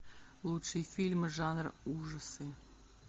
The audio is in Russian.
лучшие фильмы жанра ужасы